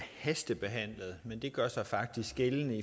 hastebehandlet men det gør sig faktisk gældende